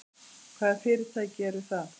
Hvaða fyrirtæki eru það?